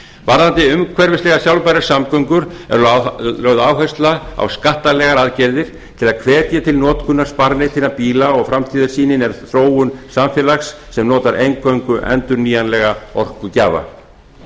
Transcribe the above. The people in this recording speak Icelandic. varðandi umhverfislegar sjálfbærar samgöngur er lögð áhersla á skattalegar aðgerðir til að hvetja til notkunar sparneytinna bíla og framtíðarsýnin er þróun samfélags sem notar eingöngu endurnýjanlega orkugjafa